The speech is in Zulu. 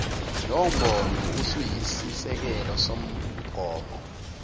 lowombono usuyisisekelo somgomo